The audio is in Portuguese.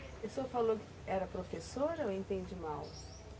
O senhor falou que era professora ou entende mal?